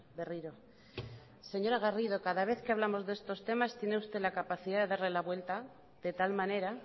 berriro señora garrido cada vez que hablamos de estos temas tiene usted la capacidad de darle la vuelta de tal manera